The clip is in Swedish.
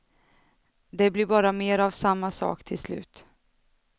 Det blir bara mer av samma sak till slut.